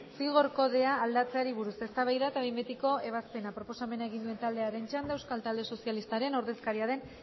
zigor kodea aldatzeari buruz eztabaida eta behin betiko ebazpena proposamena egin duen taldearen txanda euskal talde sozialistaren ordezkaria den